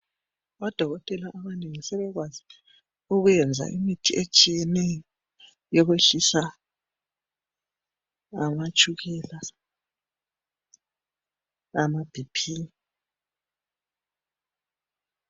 Odokotela sebekwazi ukwenza imithi etshiyeneyo yokwehlisa amatshukela lamaBP